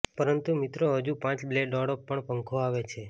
પરંતુ મિત્રો હજુ પાંચ બ્લેડ વાળો પણ પંખો આવે છે